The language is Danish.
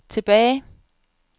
tilbage